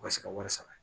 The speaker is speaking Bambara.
U ka se ka wari sara